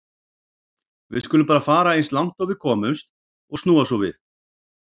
Við skulum bara fara eins langt og við komumst og snúa svo við.